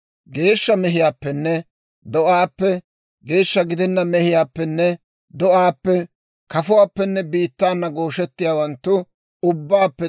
Geeshsha mehiyaappenne do'aappe, geeshsha gidenna mehiyaappenne do'aappe, kafuwaappenne biittaana gooshettiyaawanttu ubbaappe